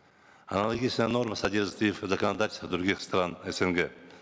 аналогичная норма содержится и в законодательстве других стран снг